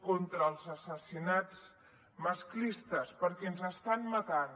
contra els assassinats masclistes perquè ens estan matant